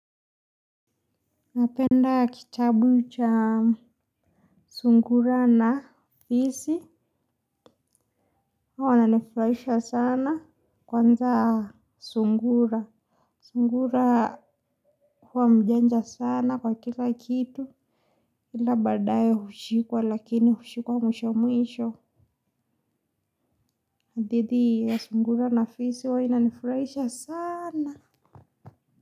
Napenda kitabu cha sungura na fisi, huwa wananifurahisha sana kwanza sungura. Sungura huwa mjanja sana kwa kila kitu, kila badaye hushikuwa lakini hushikuwa mwisho mwisho. Hadithi hii ya sungura na fisi huwa inanifurahisha sana.